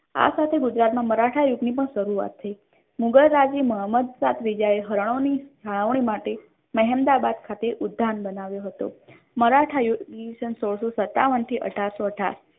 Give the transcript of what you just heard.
આ સાથે ગુજરાત મા મરાઠા યુગ ની પણ શરૂઆત થઇ મુઘલ રાજ મુહમ્મદ શાહ ત્રીજા એ હારનો ની મહેમદાબાદ ખાતે ઉદ્યાન બનાવ્યો હતો મરાઠા યુગ સોળસો સત્તાવન થી અઢારસો અઢાર